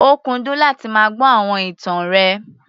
Ó kúndùn láti máa gbọ́ àwọn ìtàn rẹ̀.